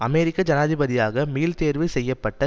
அமெரிக்க ஜனாதிபதியாக மீள்தேர்வு செய்ய பட்ட